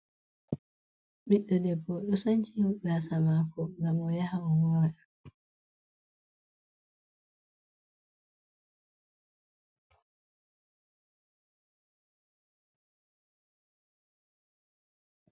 Ɓiɗɗo debbo do sanci gasa mako ngam o yaha o mora.